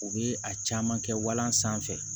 U bɛ a caman kɛ walan sanfɛ